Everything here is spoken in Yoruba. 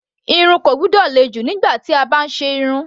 Irun kò gbọ́dọ̀ le jù nígbà tí a bá ń ṣe irun.